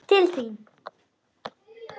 Til þín.